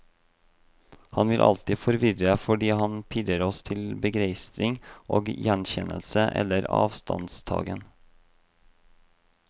Han vil alltid forvirre fordi han pirrer oss til begeistring og gjenkjennelse eller avstandstagen.